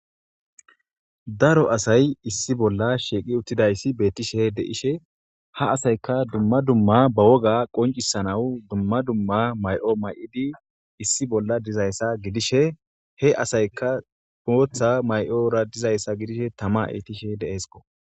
Daro asay issi bolla shiiqi uttidayssi bettishe deishe ha asayka dumma dumma ba woga qoncisanawu dumma dumma may'o may'idi issi bolla dizayssa gidishe he asayka pootha may'ora dizayssa gidishe tama etishe deeesko.